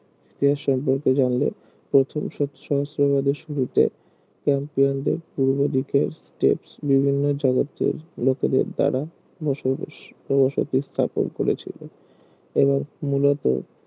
জানল প্রথম সহস্রবাদের শুরুতে ক্যাম্পিয়ান দের পূর্বদিকে স্টেপস বিভিন্ন জগতের লোকেদের দ্বারা বসবাস বা বসতি স্থাপন করেছিল এবার মূলত